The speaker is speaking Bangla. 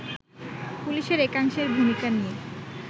পুলিশের একাংশের ভূমিকা নিয়ে